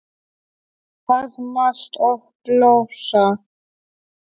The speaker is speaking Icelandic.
Faðmast og blossa.